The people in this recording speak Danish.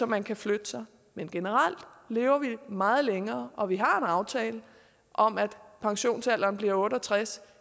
man kan flytte sig men generelt lever vi meget længere og vi har en aftale om at pensionsalderen bliver otte og tres